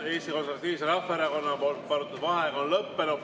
Eesti Konservatiivse Rahvaerakonna palutud vaheaeg on lõppenud.